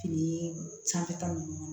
Fini sanfɛta ninnu